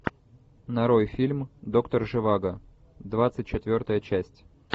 нарой фильм доктор живаго двадцать четвертая часть